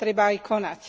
Treba aj konať.